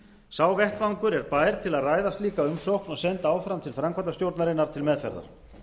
sá vettvangur er bær til að ræða slíka umsókn og senda áfram til framkvæmdastjórnarinnar til meðferðar